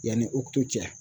Yanni cɛ.